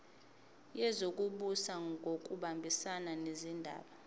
wezokubusa ngokubambisana nezindaba